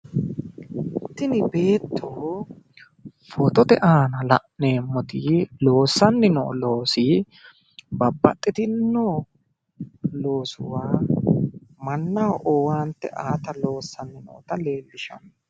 Tini beetto footote aana la'neemmoti loossanni noo loosi babbaxxitinno loosuwa mannaho owaante aata loosanni noota leellishanno.